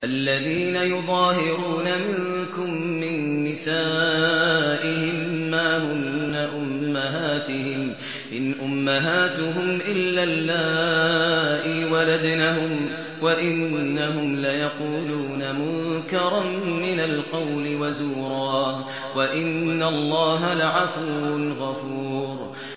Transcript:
الَّذِينَ يُظَاهِرُونَ مِنكُم مِّن نِّسَائِهِم مَّا هُنَّ أُمَّهَاتِهِمْ ۖ إِنْ أُمَّهَاتُهُمْ إِلَّا اللَّائِي وَلَدْنَهُمْ ۚ وَإِنَّهُمْ لَيَقُولُونَ مُنكَرًا مِّنَ الْقَوْلِ وَزُورًا ۚ وَإِنَّ اللَّهَ لَعَفُوٌّ غَفُورٌ